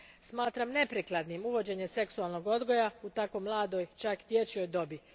Smatram neprikladnim uvođenje seksualnog odgoja u tako mladoj, čak dječjoj dobi.